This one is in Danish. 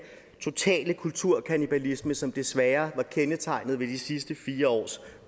totale kulturkannibalisme som desværre har kendetegnet de sidste fire års